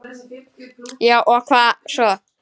Já og hvað svo!